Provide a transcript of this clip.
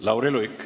Lauri Luik.